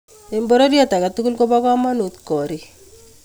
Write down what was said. Eng bororie agetugul ko bo komonut koriik